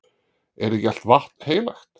Er ekki allt vatn heilagt?